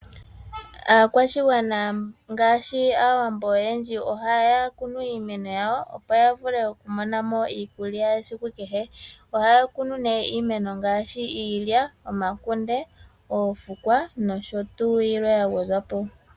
Aakwashigwana ngaashi aawambo oyendji ohaya kunu iimeno yawo, opo yavule okumonamo iikulya yesiku kehe. Ohaya kune ne iimeno ngaashi, ilya, omakunde, oofukwa, nosho tuu.